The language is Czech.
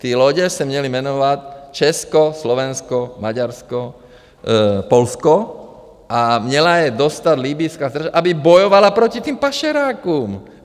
Ty lodě se měly jmenovat Česko, Slovensko, Maďarsko, Polsko a měla je dostat libyjská stráž, aby bojovala proti těm pašerákům.